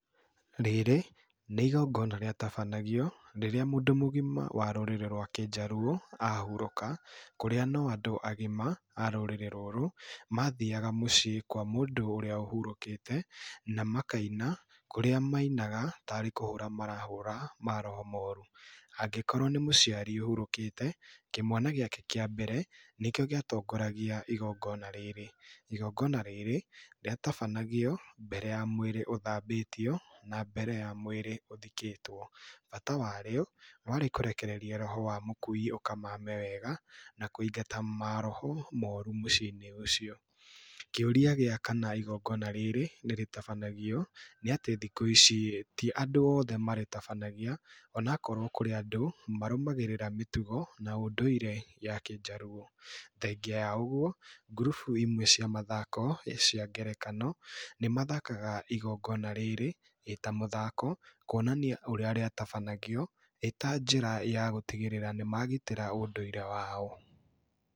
Rĩrĩ nĩigongona rĩa rĩtabanagio rĩrĩa mũndũ mũgima warũrĩrĩ rwa Kĩjaluo ahurũka kũrĩa no andũ agima arũrĩrĩ rũrũ mathiaga mũciĩ kwa mũndũ ũrĩa ũhũrũkĩte na makaina kũrĩ arĩa mainaga tarĩ kũhũra marahũra maroho moru, angĩkorwo nĩ mũciari ũhurũkĩte kĩmwana gĩake gĩa mbere nĩkĩo gĩatongoragia igongona rĩrĩ, igongona rĩrĩ rĩatabanagio mbere ya mwĩrĩ ũthabĩtio na mbere ya mwĩrĩ ũthikĩtwo, bata wa rĩo warĩ kũrekereria roho wa mũkui ũkamame wega na kũingata mohoro moru mĩciinĩ ũcio, kĩũria gĩa kanna igogenga rĩrĩ nĩrĩtabanagio nĩatĩ thikũ ici ti andũ othe marĩtabanagia ona wakorwo kũrĩ andũ marũgamagĩrĩra mĩtugo na ũndũire ya Kijaluo, thengia ya ũguo grupu imwe cia mathako cia ngerekano nĩmathakaga igongona rĩrĩ ĩtamũthako, kwonania ũrĩa rĩtabanagio ĩtanjĩra ya gũtigĩrĩra nĩ magitĩra ũndũire wao.